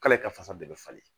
K'ale ka fasa bɛɛ bɛ falen